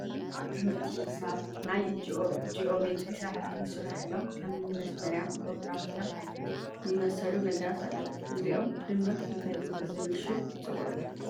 ኣብ ትምህርቲ ሒሳብ ናይ ጂኦሜትሪ ስራሕቲ ዝስርሐሎም ከም እኒ መስመሪያ፣ ፕሮትራክተር ዝመሰሉ ነገራት ኣለዉ፡፡ እዚኦም ብድምር እንታይ ብዝብል ሽም ይፅውዑ?